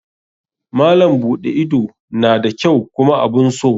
Malam buɗe ido na da kyau kuma abun so.